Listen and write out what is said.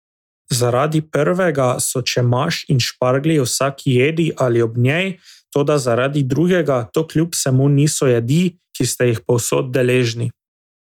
Zaradi prvega so čemaž in šparglji v vsaki jedi ali ob njej, toda zaradi drugega to kljub vsemu niso jedi, ki ste jih povsod deležni.